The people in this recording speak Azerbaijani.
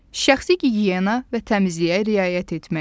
Şəxsi gigiyena və təmizliyə riayət etmək.